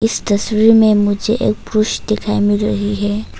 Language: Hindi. इस तस्वीर में मुझे एक पुरुष दिखाएं मिल रही है।